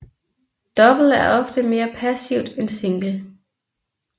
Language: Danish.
Double er ofte mere passivt end single